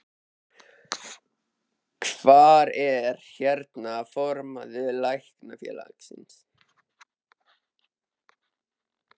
Hvar er, hérna, formaður Læknafélagsins?